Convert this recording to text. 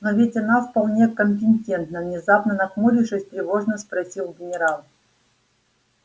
но ведь она вполне компетентна внезапно нахмурившись тревожно спросил генерал